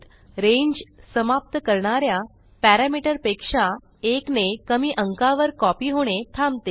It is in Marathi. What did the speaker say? रांगे समाप्त करणा या पॅरामीटरपेक्षा एक ने कमी अंकावर कॉपी होणे थांबते